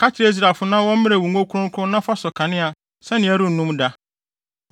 “Ka kyerɛ Israelfo na wɔmmrɛ wo ngo kronkron na fa sɔ kanea sɛnea ɛrennum da.